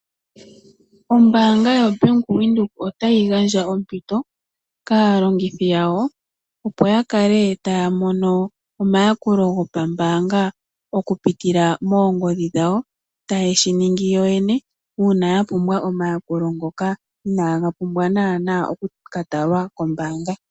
Ombaanga ya Venduka otayi gandja ompito kaalongithi yawo opo ya kale taya mono omayakulo go pa mbaanga okupitila moongodhi dhawo , ta yeshi ningi yoyene uuna ya pumbwa omayakulo ngoka inaga pumbwa naana okuka talwa kombaanga.